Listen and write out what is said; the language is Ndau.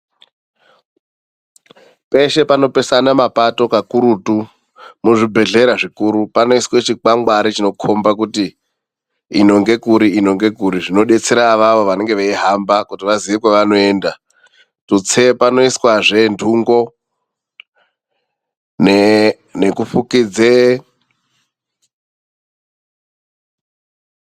Peshe panopesana mapato kakurutu muzvibhedhlera zvikuru panoiswa kangwangwari kanoita kuti ino ngekuri ino ngekuri zvinodetsera ivava vanenge veihamba vazive kwavanenge vachienda tutse vanoisawo ndungo, nekufukidze,